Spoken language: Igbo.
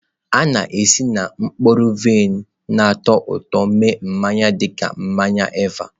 A na-esi na mkpụrụ vaịn na-atọ ụtọ eme mmanya dị ka mmanya Eva.